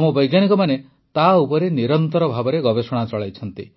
ଆମ ବୈଜ୍ଞାନିକମାନେ ତା ଉପରେ ନିରନ୍ତର ଭାବେ ଗବେଷଣା ଚଳାଇଛନ୍ତି